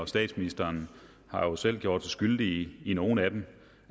statsministeren har jo selv gjort sig skyldig i nogle af dem